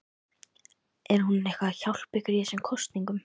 Er hún eitthvað að hjálpa ykkur í þessum kosningum?